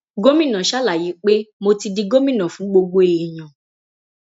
gomina ṣàlàyé pé mo ti di gómìnà fún gbogbo èèyàn